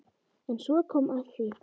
En svo kom að því.